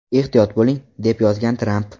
Ehtiyot bo‘ling!” deb yozgan Tramp.